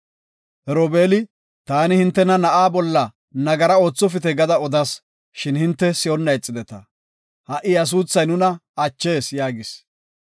Robeeli, “Taani hintena, na7aa bolla nagara oothopite gada odas, Shin hinte si7onna ixideta. Ha7i iya suuthay nuna achees” yaagis.